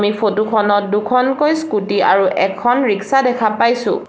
এই ফটো খনত দুখনকৈ স্কুটী আৰু এখন ৰিক্সা দেখা পাইছোঁ।